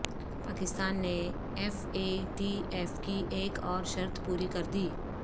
پاکستان نے F A T F کی ایک اور شرط پوری کردی